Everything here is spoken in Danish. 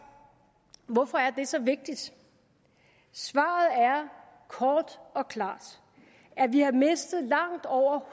hvorfor er det så vigtigt svaret er kort og klart at vi har mistet langt over